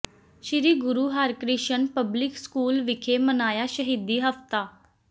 ਸ੍ਰੀ Guru Harkrishan public school ਵਿਖੇ ਮਨਾਇਆ ਸ਼ਹੀਦੀ ਹਫ਼ਤਾ